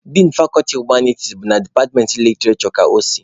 Din fakọlti humaniti bụ na departmentị literishure ka o si.